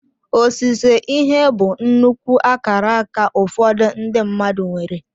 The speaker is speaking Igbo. Osise ihe bụ nnukwu akaraka ụfọdụ ndị mmadụ nwere.